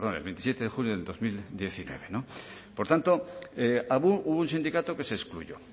perdón el veintisiete de junio de dos mil diecinueve por tanto hubo un sindicato que se excluyó